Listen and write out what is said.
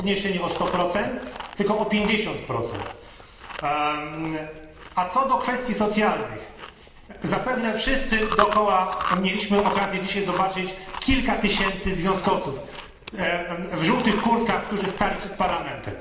nie jest podniesienie o 100, tylko o 50, a co do kwestii socjalnych, zapewne wszyscy dookoła mieliśmy okazję dzisiaj zobaczyć kilka tysięcy związkowców w żółtych kurtkach, którzy stali przed Parlamentem.